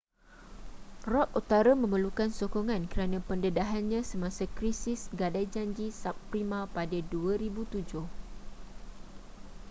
rock utara memerlukan sokongan kerana pendedahannya semasa krisis gadai janji subprima pada 2007